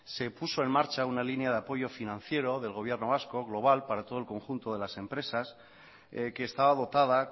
se puso en marcha una línea de apoyo financiero del gobierno vasco global para todo el conjunto de las empresas que estaba dotada